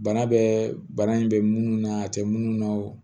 Bana bɛ bana in bɛ minnu na a tɛ minnu na o